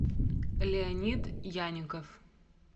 леонид яненков